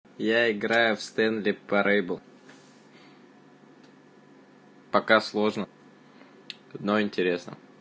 я играю в стенли парабл пока сложно но интересно